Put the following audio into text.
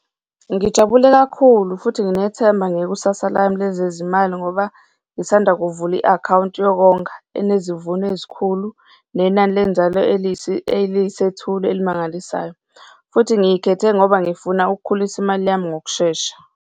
Ngijabule kakhulu futhi nginethemba ngekusasa lami lezizimali ngoba ngisanda kuvula i-akhawunti yokonga enezivuno ezikhulu, nenani lenzalo eliyisethulo elimangalisayo futhi ngiyikhethe ngoba ngifuna ukukhulisa imali yami ngokushesha.